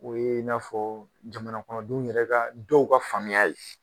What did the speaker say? O ye n'a fɔ jamana kɔnɔdenw yɛrɛ ka dɔw ka faamuya ye